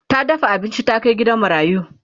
ta dafa abinci ta Kai gidan marayu